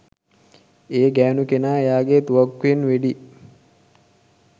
ඒ ගෑණු කෙනා එයාගේ තුවක්කුවෙන් වෙඩි